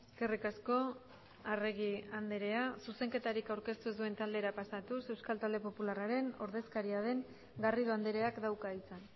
eskerrik asko arregi andrea zuzenketarik aurkeztu ez duen taldera pasatuz euskal talde popularraren ordezkaria den garrido andreak dauka hitza